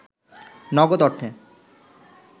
নগদ অর্থে